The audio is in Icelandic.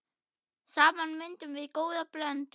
Saman myndum við góða blöndu.